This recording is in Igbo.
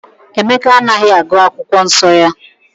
Emeka anaghị agụ akwụkwọ nsọ ya